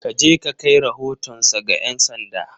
Ka je ka kai rahotonsa ga ’yan sanda!